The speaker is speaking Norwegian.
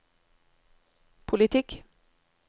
politikk